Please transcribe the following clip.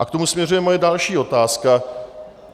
A k tomu směřuje moje další otázka.